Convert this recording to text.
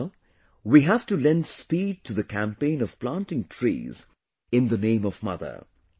Now we have to lend speed to the campaign of planting trees in the name of mother